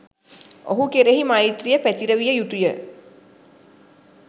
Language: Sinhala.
ඔහු කෙරෙහි මෛත්‍රිය පැතිරවිය යුතු ය.